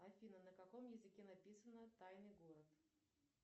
афина на каком языке написано тайный город